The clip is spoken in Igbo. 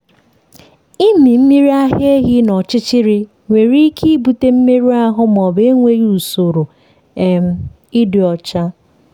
ịmị mmiri ara ehi n’ọchịchịrị nwere ike ibute mmerụ ahụ ma ọ bụ enweghị usoro um ịdị ọcha.